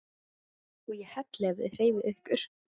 OG ÉG HELLI EF ÞIÐ HREYFIÐ YKKUR!